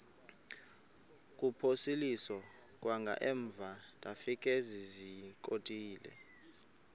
kuphosiliso kwangaemva ndafikezizikotile